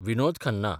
Vinod Khanna